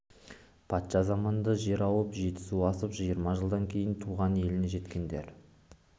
патша заманында жер ауып жетісу асып жиырма жылдан кейін туған еліне жеткендер